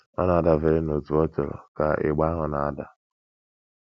Ọ na - adabere n’otú ọ chọrọ ka ịgba ahụ na - ada.